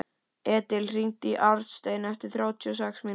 Edil, hringdu í Arnstein eftir þrjátíu og sex mínútur.